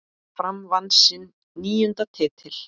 Fram vann sinn níunda titil.